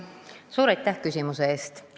Suur aitäh küsimuse eest!